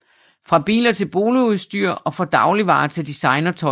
Fra biler til boligudstyr og fra dagligvarer til designertøj